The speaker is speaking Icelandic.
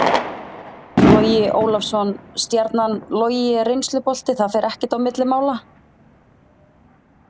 Logi Ólafsson- Stjarnan Logi er reynslubolti, það fer ekkert á milli mála.